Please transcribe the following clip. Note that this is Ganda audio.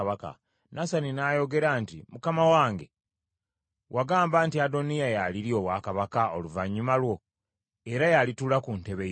Nasani n’ayogera nti, “Mukama wange, wagamba nti Adoniya y’alirya obwakabaka oluvannyuma lwo, era y’alituula ku ntebe yo?